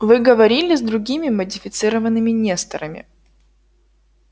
вы говорили с другими модифицированными несторами